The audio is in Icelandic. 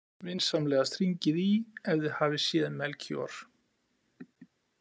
Vinsamlegast hringið í ef þið hafið séð Melkíor.